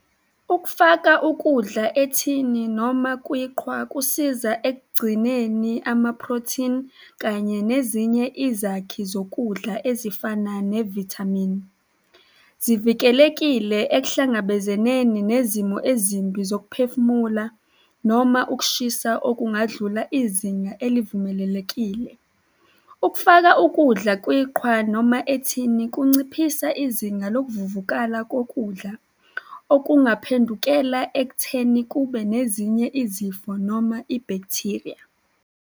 Ukufaka ukudla ethini noma kwiqhwa kusiza ekugcineni amaprotheni kanye nezinye izakhi zokudla ezifana nevithamini. Zivikelekile ekuhlangabezeneni nezimo ezimbi zokuphefumula noma ukushisa okungadlula izinga elivumelelekile. Ukufaka ukudla kwiqhwa noma ethini kunciphisa izinga lokuvuvukala kokudla okungaphendukela ekutheni kube nezinye izifo noma ibhakthiriya.